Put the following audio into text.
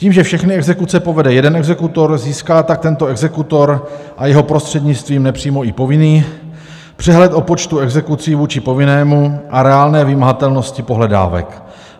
Tím, že všechny exekuce povede jeden exekutor, získá tak tento exekutor a jeho prostřednictvím nepřímo i povinný přehled o počtu exekucí vůči povinnému a reálné vymahatelnosti pohledávek.